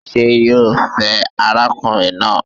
Ṣé yo fẹ́ arákùnrin náà?